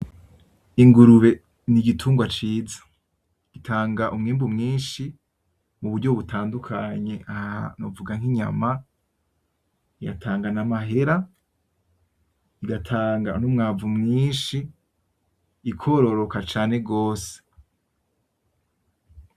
Ingurube ni igitungwa ciza, gitanga umwimbu mwinshi mu buryo butandukanye, aha novuga nk'inyama, yatanga n'amahera igatanga n'umwavu mwinshi ikororoka cane gose.